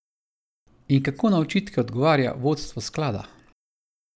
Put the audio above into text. In kako na očitke odgovarja vodstvo sklada?